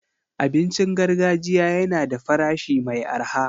Abincin gargajiya yana da farashi mai arha.